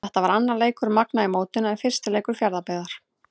Þetta var annar leikur Magna í mótinu en fyrsti leikur Fjarðabyggðar.